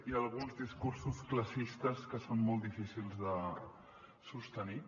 hi ha alguns discursos classistes que són molt difícils de sostenir